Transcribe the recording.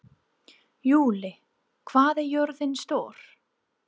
Júlí, hvað er jörðin stór?